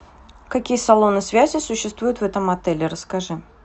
какие салоны связи существуют в этом отеле расскажи